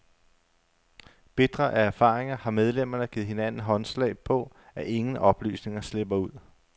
Bitre af erfaringer har medlemmerne givet hinanden håndslag på, at ingen oplysninger slipper ud.